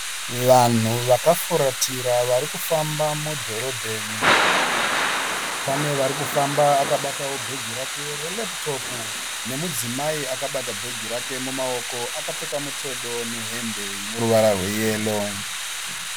Vanhu vakafuratira varikufamba mudhorobheni. Pane arikufamba akabatawo bhegi reLaptop nemudzimayi akabata bhegi rake mumaoko akapfeka mutodo nehembe ineruvara rwe yero.